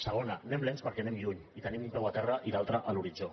segona anem lents perquè anem lluny i tenim un peu a terra i l’altre a l’horitzó